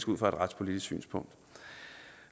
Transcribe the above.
ud fra et retspolitisk synspunkt